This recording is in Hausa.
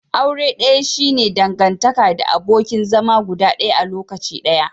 Aure daya shi ne dangantaka the abokin zama guda daya a lokaci guda.